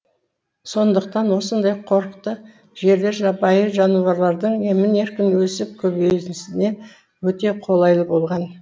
сондықтан осындай қорықты жерлер жабайы жануарлардың емін еркін өсіп көбеюіне өте қолайлы болған